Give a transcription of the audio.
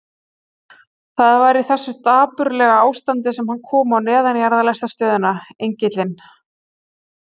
Það var í þessu dapurlega ástandi sem hann kom á neðanjarðarlestarstöðina Engilinn.